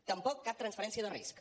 tampoc cap transferència de risc